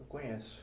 Conheço.